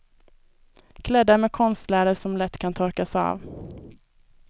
Klädda med konstläder som lätt kan torkas av.